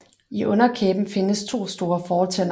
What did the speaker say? I underkæben findes to store fortænder